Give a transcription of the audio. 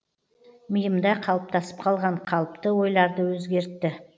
миымда қалыптасып қалған қалыпты ойларды өзгертті